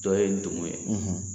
Dɔ ye ndumu ye